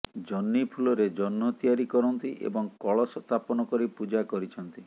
ଜହ୍ନି ଫୁଲରେ ଜହ୍ନ ତିଆରି କରନ୍ତି ଏବଂ କଳସ ସ୍ଥାପନ କରି ପୂଜା କରିଛନ୍ତି